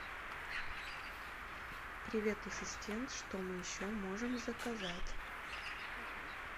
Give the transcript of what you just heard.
привет ассистент что мы еще можем заказать